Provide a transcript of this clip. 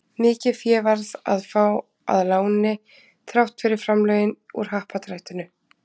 Mikið fé varð að fá að láni þrátt fyrir framlögin úr Happdrættinu.